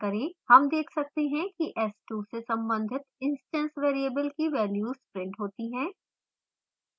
हम देख सकते हैं कि s2 से संबंधित instance variables की values printed होती हैं